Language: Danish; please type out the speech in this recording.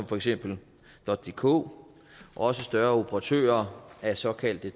for eksempel dk også større operatører af såkaldte